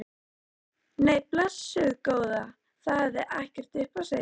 Nei, blessuð góða, það hefði ekkert upp á sig.